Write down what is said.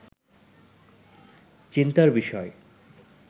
চিন্তার বিষয়